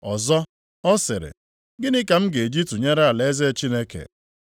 Ọzọ, ọ sịrị, “Gịnị ka m ga-eji tụnyere alaeze Chineke?